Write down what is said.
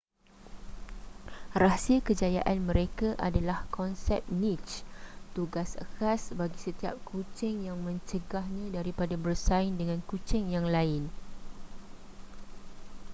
rahsia kejayaan mereka adalah konsep niche tugas khas bagi setiap kucing yang mencegahnya daripada bersaing dengan kucing yang lain